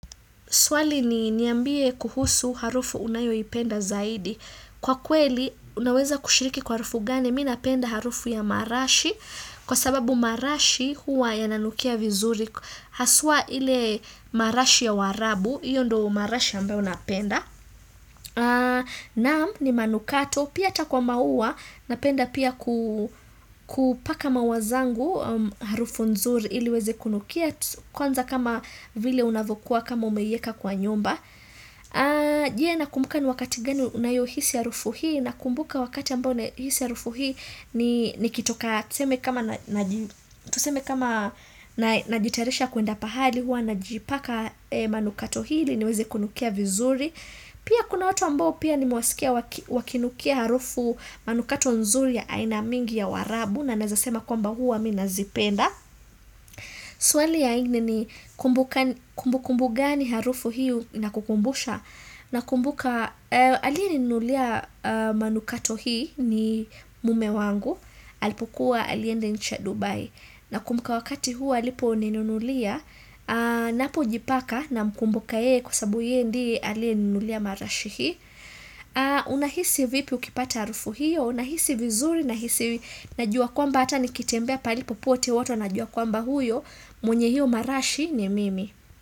Swali ni niambie kuhusu harufu unayo ipenda zaidi. Kwa kweli, unaweza kushiriki kwa harufu gani, mi napenda harufu ya marashi. Kwa sababu marashi, huwa yananukia vizuri. Haswa ile marashi ya warabu. Iyo ndo marashi ambayo napenda. Naam, ni manukato. Pia ata kwa maua, napenda pia kupaka mawazangu harufu nzuri ili weze kunukia. Kwanza kama vile unavukua kama umeieka kwa nyumba jie na kumbuka ni wakati gani na yo hisi ya rufu hii na kumbuka wakati ambao na hisi ya harufu hii ni kitoka tuseme kama najitarisha kuenda pahali hua najipaka manukato hili niweze kunukia vizuri pia kuna watu ambao pia ni muasikia wakinukia harufu manukato nzuri ya ainamingi ya warabu na nazasema kwamba hua minazipenda Swali ya ingini ni kumbu kumbu gani harufu hiu na kukumbusha na kumbuka alia ninulia manukato hii ni mume wangu Alipukua aliendencha Dubai na kumbuka wakati huu alipo ninulia Napo jipaka na mkumbuka yee kusabu yee ndi alia ninulia marashi hii Una hisi vipi ukipata harufu hiu Una hisi vizuri na hisi najua kwamba ata nikitembea palipo pote wato na jua kwamba huyo mwenye hiyo marashi ni mimi.